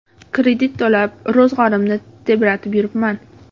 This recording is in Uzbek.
Kredit to‘lab, ro‘zg‘orimni tebratib yuribman.